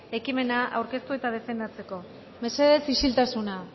ekimena aurkeztu eta defendatzeko mesedez isiltasuna